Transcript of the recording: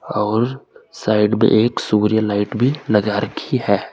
और साइड में एक सूर्य लाइट भी लगा रही है।